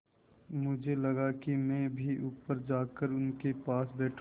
मुझे लगा कि मैं भी ऊपर जाकर उनके पास बैठूँ